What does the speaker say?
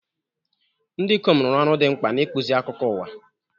Ndị ikom rụrụ ọrụ dị mkpa n'ịkpụzi akụkọ ụwa.